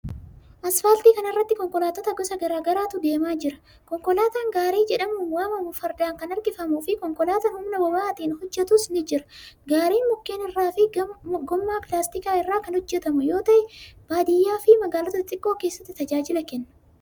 Asfaaltii kana irra konkolaattota gosa garaa garaatu deemaa jira. Konkolaataan gaarii jedhamuun waamamu fardaan kan harkifamuu fi konkolaataan humna boba'aatin hojjatuus ni jira. Gaariin mukkeen irraa fi gommaa pilaastikaa irraa kan hojjatamu yoo ta'e baadiyaa fi magaalota xixiqqoo keessatti tajaajila kenna.